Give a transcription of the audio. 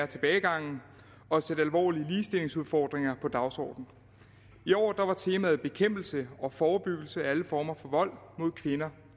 tilbagegangen og sætte alvorlige ligestillingsudfordringer på dagsordenen i år var temaet bekæmpelse og forebyggelse af alle former for vold mod kvinder